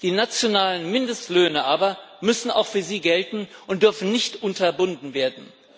Die nationalen Mindestlöhne aber müssen auch für sie gelten und dürfen nicht unterbunden werden.